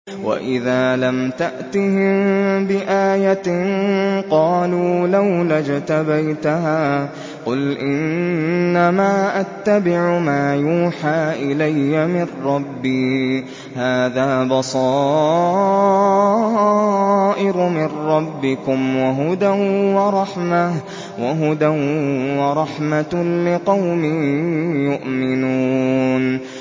وَإِذَا لَمْ تَأْتِهِم بِآيَةٍ قَالُوا لَوْلَا اجْتَبَيْتَهَا ۚ قُلْ إِنَّمَا أَتَّبِعُ مَا يُوحَىٰ إِلَيَّ مِن رَّبِّي ۚ هَٰذَا بَصَائِرُ مِن رَّبِّكُمْ وَهُدًى وَرَحْمَةٌ لِّقَوْمٍ يُؤْمِنُونَ